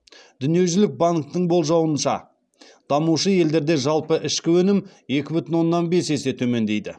дүниежүзілік банктің болжауынша дамушы елдерде жалпы ішкі өнім екі бүтін оннан бес есе төмендейді